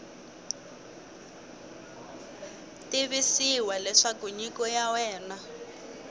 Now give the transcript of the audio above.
tivisiwa leswaku nyiko ya wena